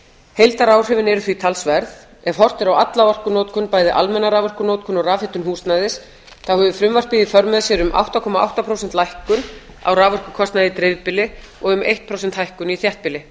heildaráhrifin eru því talsverð ef horft er á alla orkunotkun bæði almenna raforkunotkun og rafhitun húsnæðis hefur frumvarpið í för með sér um átta komma átta prósenta lækkun á raforkukostnaði í dreifbýli og um eitt prósent hækkun í þéttbýli